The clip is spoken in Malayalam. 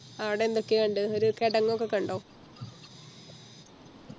ആട എന്തൊക്ക്യാ കണ്ടേ ഒര് കെടങ്ങൊക്കെ കണ്ടോ